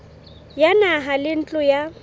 ya naha le ntlo ya